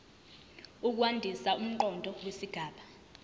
ukwandisa umqondo wesigaba